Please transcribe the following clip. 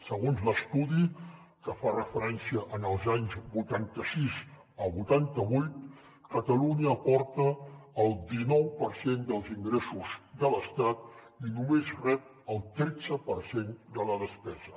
segons l’estudi que fa referència als anys vuitanta sis a vuitanta vuit catalunya aporta el dinou per cent dels ingressos de l’estat i només rep el tretze per cent de la despesa